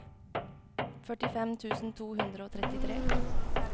førtifem tusen to hundre og trettitre